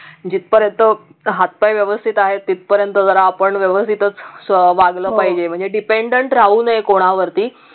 जिथपर्यंत हात पाय व्यवस्तीत आहे तिथपर्यंत जरा आपण व्यवस्तितच वागलं पाहिजे म्हणजे dependent राहू नये कोणावरती